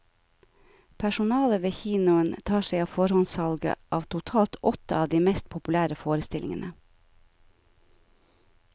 Personalet ved kinoen tar seg av forhåndssalget av totalt åtte av de mest populære forestillingene.